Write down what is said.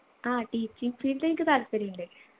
ആ teaching field എനിക്ക് താല്പര്യമുണ്ട്